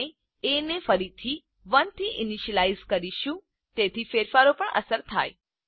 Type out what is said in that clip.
આપણે એ ને ફરીથી 1 થી ઈનીશ્યલાઈઝ કરીશું તેથી ફેરફારો પર અસર થાય